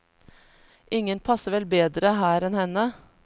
Ingen passer vel bedre her enn henne.